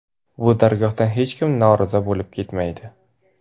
Bu dargohdan hech kim norozi bo‘lib ketmaydi.